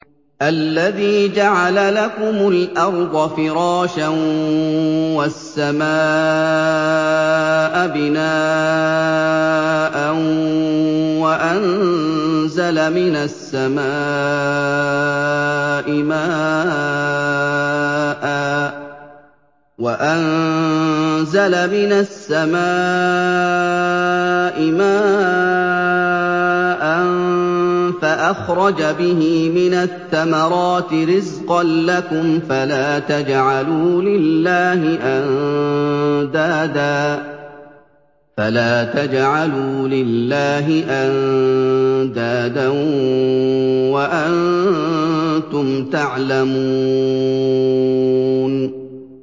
الَّذِي جَعَلَ لَكُمُ الْأَرْضَ فِرَاشًا وَالسَّمَاءَ بِنَاءً وَأَنزَلَ مِنَ السَّمَاءِ مَاءً فَأَخْرَجَ بِهِ مِنَ الثَّمَرَاتِ رِزْقًا لَّكُمْ ۖ فَلَا تَجْعَلُوا لِلَّهِ أَندَادًا وَأَنتُمْ تَعْلَمُونَ